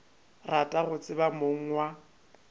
rata go tseba mong wa